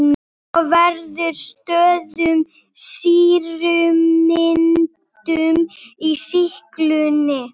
Þá verður stöðug sýrumyndun í sýklunni.